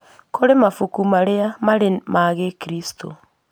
Kũrĩ mabuku marĩa marĩ ma gĩkristo